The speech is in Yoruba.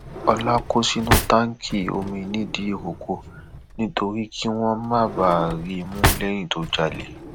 ọlá kó sínú táǹkì omi nìdírọkọ nítorí kí wọn má bàa rí i mú lẹyìn tó jalè